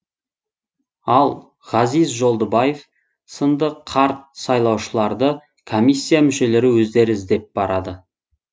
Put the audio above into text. ал ғазиз жолдыбаев сынды қарт сайлаушыларды комиссия мүшелері өздері іздеп барады